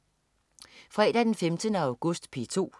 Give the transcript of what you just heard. Fredag den 15. august - P2: